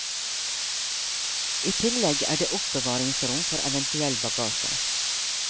I tillegg er det oppbevaringsrom for eventuell bagasje.